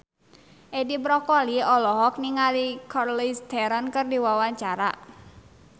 Edi Brokoli olohok ningali Charlize Theron keur diwawancara